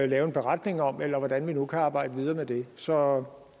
lave en beretning om eller hvordan vi nu kan arbejde videre med det så